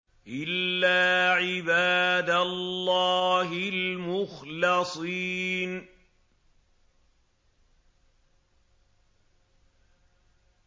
إِلَّا عِبَادَ اللَّهِ الْمُخْلَصِينَ